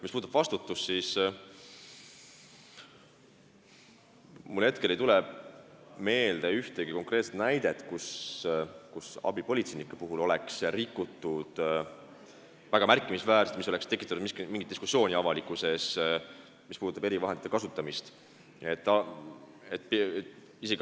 Mis puudutab vastutust, siis mulle hetkel ei tule meelde ühtegi konkreetset näidet, kui avalikkuses oleks tekkinud diskussioon, kuna abipolitseinikud oleksid väga märkimisväärselt rikkunud erivahendite kasutamise korda.